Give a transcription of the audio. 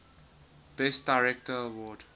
best director award